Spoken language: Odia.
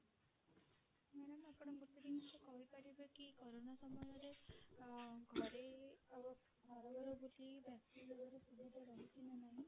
madam ଆପଣ ଗୋଟେ ଜିନିଷ କହି ପାରିବେ କି କୋରୋନା ସମୟରେ ଘରେ ଘର ଘର ବୁଲି